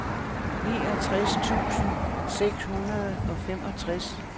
niogtres tusind seks hundrede og femogtres